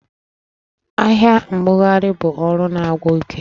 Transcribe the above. Ahịa mbugharị bụ ọrụ na-agwụ ike